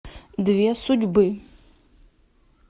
две судьбы